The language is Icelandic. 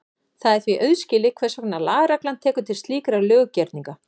Það er því auðskilið hvers vegna lagareglan tekur til slíkra löggerninga.